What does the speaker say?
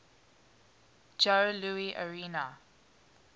joe louis arena